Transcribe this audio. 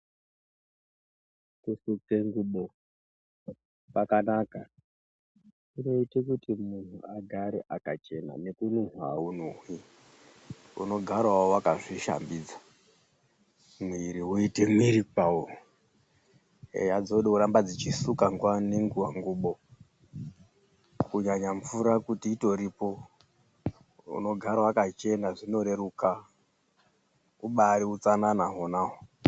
Kusuke ngubo kwakanaka kunoite kuti munhu agare akachena nekunhuwa awunhuwi ,unogarawo wakazvishambidza ,mwiri uite mwiri kwawo eya dzode kuramba dzichisuka nguwa nenguwa ngubo kunyanya mvura kuti itoripo unogara wakachena zvinoreruka ubaari utsanana hwonaho.